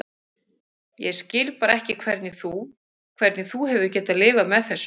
Ég skil bara ekki hvernig þú. hvernig þú hefur getað lifað með þessu.